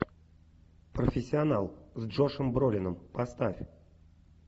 профессионал с джошем бролином поставь